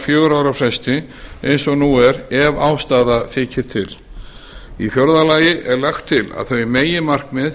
fjögurra ára fresti eins og nú er ef ástæða þykir til í fjórða lagi er lagt til að þau meginmarkmið